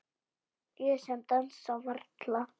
Ég sem dansa varla.